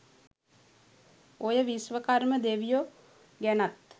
ඔය විශ්වකර්ම දෙවියො ගැනත්